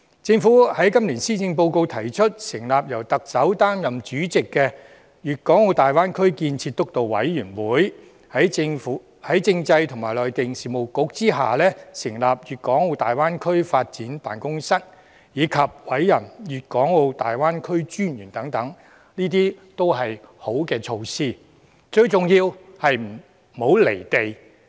政府在今年施政報告提出，成立由特首擔任主席的粵港澳大灣區建設督導委員會、在政制及內地事務局下成立粵港澳大灣區發展辦公室，以及委任粵港澳大灣區發展專員等，這些均是好措施，最重要是不"離地"。